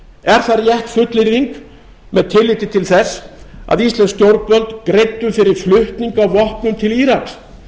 er það rétt fullyrðing með tilliti til þess að íslensk stjórnvöld greiddu fyrir flutning á vopnum til íraks